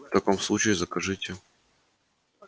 в таком случае закажите